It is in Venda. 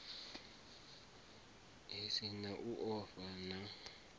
si na u ofha na